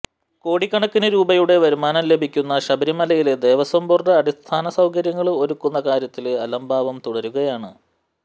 കോടിക്കണക്കിന് രൂപയുടെ വരുമാനം ലഭിക്കുന്ന ശബരിമലയില് ദേവസ്വം ബോര്ഡ് അടിസ്ഥാന സൌകര്യങ്ങള് ഒരുക്കുന്ന കാര്യത്തില് അലംഭാവം തുടരുകയാണ്